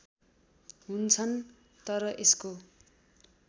हुन्छन् तर यसको